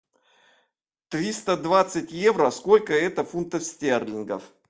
триста двадцать евро сколько это фунтов стерлингов